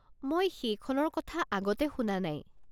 মই সেইখনৰ কথা আগতে শুনা নাই।